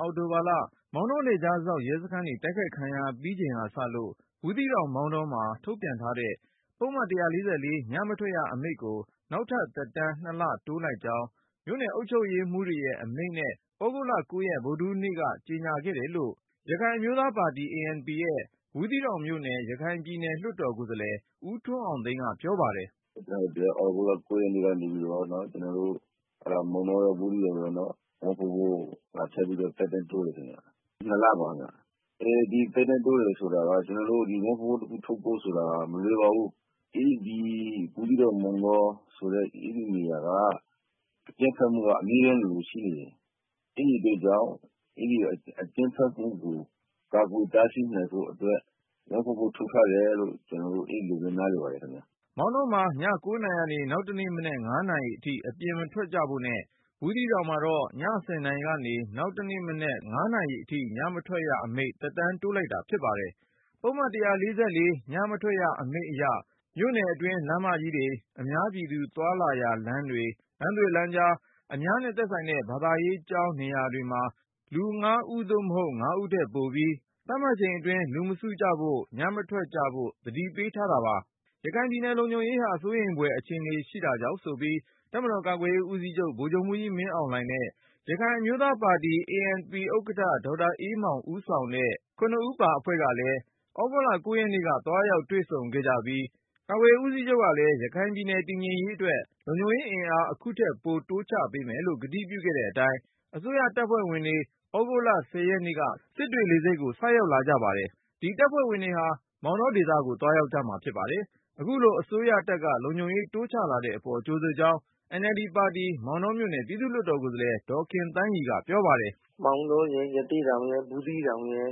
အောက်တိုဘာလ မောင်တောနယ်ခြားစောင့် ရဲစခန်းတွေ တိုက်ခိုက်ခံရပြီးချိန်ကစလို့ ဘူးသီးတောင်၊ မောင်တောမှာ ထုတ်ပြန်ထားတဲ့ ပုဒ်မ ၁၄၄ ညမထွက်ရအမိန့်ကို နောက်ထပ် သက်တမ်း(၂)လ တိုးလိုက်ကြောင်း မြို့နယ်အုပ်ချုပ်ရေးမှူးတွေရဲ့ အမိန့်နဲ့ သြဂုတ်လ(၉)ရက် ဗုဒ္ဓဟူး နေ့က ကြေညာခဲ့တယ်လို့ ရခိုင်အမျိုးသားပါတီ ANP ရဲ့ ဘူးသီးတောင်မြို့နယ် ရခိုင်ပြည်နယ်လွှတ်တော် ကိုယ်စားလှယ် ဦးထွန်းအောင်သိန်း က ပြောပါတယ်။ “သြဂုတ်လ ၉ ရက်နေ့ကနေပြီးတော့ ကျနော်တို့ မောင်တော၊ ဘူးသီးတောင်ဘက်တွေကို ထပ်ပြီးတော့ သက်တမ်းတိုးတယ်ခင်ဗျ ၂ လပါခင်ဗျ။ ဒီသက်တမ်းတိုးတယ်ဆိုတာက ကျနော်တို့ ပုဒ်မ ၁၄၄ ထုတ်ဖို့ဆိုတာက မလွယ်ပါဘူး။ ဒီ မောင်တော၊ ဘူးသီးတောင်ဆိုတဲ့နေရာတွေက အကြမ်းဖက်မှုက အမြဲတမ်းလိုလိုရှိနေတယ်။ အဲဒီအတွက်ကြောင့် အကြမ်းဖက်မှုကို ကာကွယ်တားဆီးနိုင်ဖို့အတွက် ၁၄၄ ထုတ်ထားရတယ်လို့ အဲလိုပဲ နားလည်ပါတယ်ခင်ဗျ။” မောင်တောမှာ ည ၉ နာရီကနေ နောက်တနေ့မနက် ၅ နာရီအထိ အပြင်မထွက်ကြဖို့နဲ့ ဘူးသီးတောင်မှာတော့ ည ၁၀ နာရီကနေ နောက်နေ့ မနက် ၅ နာရီအထိ ညမထွက်ရအမိန့် သက်တမ်းကို တိုးလိုက်တာဖြစ်ပါတယ်။ ပုဒ်မ ၁၄၄ ညမထွက်ရအမိန့်အရ မြို့နယ်အတွင်း လမ်းမကြီးတွေ၊ အများပြည်သူ သွားလာရာလမ်းတွေ၊ လမ်းသွယ်လမ်းကြား၊ အများနဲ့ ဆိုင်တဲ့ ဘာသာရေးကျောင်း နေရာတွေမှာ လူ ၅ ဦးသို့မဟုတ် ၅ ဦး ထက်ပိုပြီး သတ်မှတ်အချိန်အတွင်း လူမစုဖို့ ညမထွက်ကြဖို့ သတိပေး ထားတာပါ။ ရခိုင်ပြည်နယ် လုံခြုံရေးဟာ စိုးရိမ်ဖွယ် အခြေအနေမှာ ရှိတာကြောင့်ဆိုပြီး တပ်မတော် ကာကွယ်ရေးဦးစီးချုပ် ဗိုလ်ချုပ်မှူးကြီး မင်းအောင်လှိုင် နဲ့ ရခိုင်အမျိုးသားပါတီ ANP ဥက္ကဌ ဒေါက်တာအေးမောင်ဦးဆောင်တဲ့ ၇ ဦးပါအဖွဲ့က သြဂုတ် ၉ ရက်နေ့က သွားရောက်တွေ့ဆုံ ခဲ့ကြပြီး ကာကွယ်ရေးဦးစီးချုပ် ကလည်း ရခိုင်ပြည်နယ် တည်ငြိမ်အေးချမ်းရေးအတွက် လုံခြုံရေးအင်အား အခုထက် ပိုတိုးချပေးမယ်လို့ ကတိပြုခဲ့တဲ့အတိုင်း အစိုးရတပ်ဖွဲ့ဝင်တွေ သြဂုတ်လ(၁၀)ရက်နေ့က စစ်တွေလေဆိပ်ကို ရောက်လာကြပါတယ်။ ဒီတပ်ဖွဲ့ဝင်တွေဟာ မောင်တောဒေသကို သွားရောက်မှာဖြစ်ပါတယ်။ အခုလို အစိုးရတပ်က လုံခြုံရေးတိုးချလာတဲ့အပေါ် ကြိုဆိုကြောင်း NLD ပါတီ မောင်တောမြို့နယ် ပြည်သူ့လွှတ်တော်ကိုယ်စားလှယ် ဒေါ်ခင်သန်းရီက ပြောပါတယ်။ “မောင်တောရယ်၊ ရသေ့တောင်ရယ်၊ ဘူးသီးတောင်ရယ်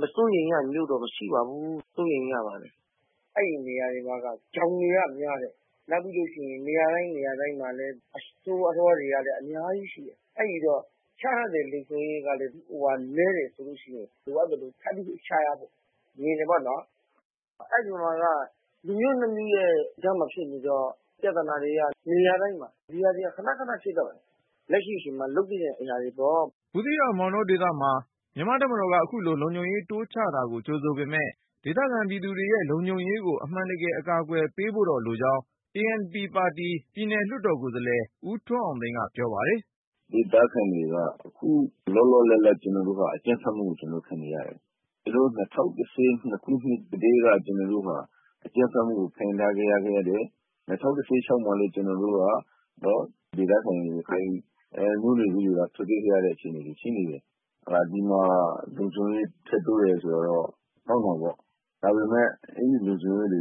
မစိုးရိမ်ရတဲ့မြို့တော့မရှိပါဘူး။ စိုးရိမ်ရပါတယ်။ အဲဒီနေရာတွေမှာက ချောင်တွေကများတယ်။ နောက်ပြီးလို့ရှိရင် နေရာတိုင်းနေရာတိုင်းမှာကလည်း အဆိုးအသွမ်းတွေကလည်း အများကြီးရှိတယ်။ အဲဒီတော့ ချထားတဲ့ လုံခြုံရေးကနည်းတယ်ဆိုရင် လိုအပ်သလိုထပ်ချဖို့ မြင်တယ်ပေါ့နော်။ အဲဒီမှာက လူမျိုး၂ ခုရဲ့ကြားမှာဖြစ်နေတော့ ပြဿနာတွေက နေရာတိုင်းမှာ ၊ ဒီဟာတွေက ခနခနဖြစ်တယ် လက်ရှိအချိန်မှာ လုပ်သင့်တဲ့ အရာတွေပေါ့။” ဘူးသီးတောင်၊ မောင်တောဒေသမှာ မြန်မာ့တပ်မတော်က ခုလို လုံခြုံရေးတိုးချတာကို ကြိုဆိုပေမယ့် ဒေသခံပြည်သူတွေရဲ့ လုံခြုံရေးကို အမှန်တကယ် အကာအကွယ်ပေးဖို့တော့ လိုကြောင်း ANP ပါတီ ပြည်နယ်လွှတ်တော် ကိုယ်စားလှယ် ဦးထွန်းအောင်သိန်းက ပြောပါတယ်။ “ဒေသခံတွေက အခုလောလောလတ်လတ် ကျနော်တို့က အကြမ်းဖက်မှုကို ခံနေရတယ်။ ၂၀၁၂ ကတည်းက ကျနော်တို့ဟာ အကြမ်းဖက်မှုကို ခံစားခဲ့ရတယ်။ ၂၀၁၆ မှာလည်း ဒေသခံ ရခိုင်မျိုးနွယ်စုတွေက ထွက်ပြေးနေရတဲ့ အခြေအနေမှာရှိနေတယ်။ ဒီမှာလုံခြုံရေး ထပ်တိုးတယ် ဆိုတာကတော့ ကောင်းတာပေါ့။ ဒါပေမယ့် အဲဒီလုံခြုံရေးတွေ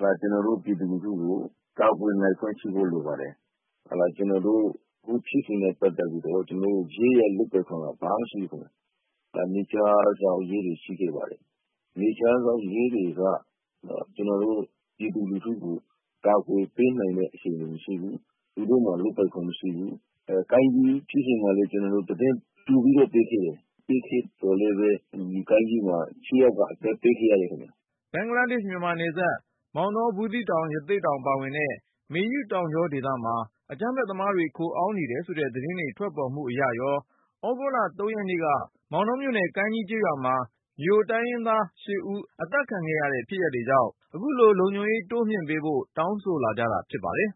က ကျနော်တို့ ပြည်သူလူထုကို ကာကွယ်နိုင်စွမ်း ရှိဖို့လိုပါတယ်။ ကျနော်တို့ အခုဖြစ်စဉ်နဲ့ ပတ်သက်ပြီးတော့ ရဲလုပ်ပိုင်ခွင့်က ဘာမှ မရှိဘူးခင်ဗျ။ နယ်ခြားစောင့် ရဲတွေရှိခဲ့ပါတယ်။ နယ်ခြားစောင့်ရဲတွေက ကျနော်တို့ ပြည်သူလူထုကို ကာကွယ်ပေးနိုင်တဲ့ အခြေအနေ မရှိဘူး။ သူတို့မှာ လုပ်ပိုင်ခွင့်မရှိဘူး။ ကိုင်းကြီးဖြစ်စဉ်တုန်းကလည်း ကျနော်တို့ သတင်း ကြိုပြီးတော့ပေးခဲ့တယ်။ ပေးခဲ့သော်လည်း ဒီကိုင်းကြီးမှာ ၈ ယောက်က အသက်ပေးခဲ့ ရတယ်ခင်ဗျ။” ဘင်္ဂလားမြန်မာနယ်စပ် မောင်တော၊ ဘူးသီးတောင်၊ ရသေ့တောင်ပါဝင်တဲ့ မေယုတောင်ကြောဒေသမှာ အကြမ်းဖက်သမားတွေ ခိုအောင်း နေတယ်ဆိုတဲ့ သတင်းတွေ ထွက်ပေါ်မှု အရရော၊ ဩဂုတ် ၃ ရက်နေ့က မောင်တောမြို့နယ် ကိုင်းကြီးကျေးရွာမှာ မြိုတိုင်းရင်းသား ၈ ဦး အသတ်ခံရတာကြောင့် ရခိုင်ပြည်နယ်မှာ လုံခြုံရေးတိုးမြှင့်ပေးဖို့ တောင်းဆိုလာကြတာ ဖြစ်ပါတယ်